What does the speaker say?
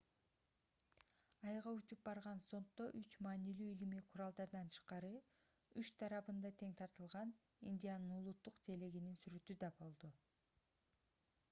айга учуп барган зонддо үч маанилүү илимий куралдардан тышкары үч тарабында тең тартылган индиянын улуттук желегинин сүрөтү да болду